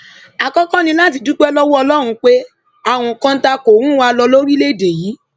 àkọkọ ni láti dúpẹ lọwọ ọlọrun pé àrùn kọńtà kò rùn wá lórílẹèdè yìí